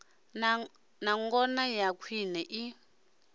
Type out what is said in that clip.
na ngona ya khwine i